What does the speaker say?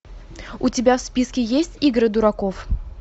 у тебя в списке есть игры дураков